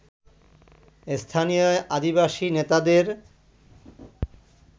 স্থানীয় আদিবাসী নেতাদের